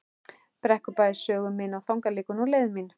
Brekkubæ sögu mína og þangað liggur nú leið mín.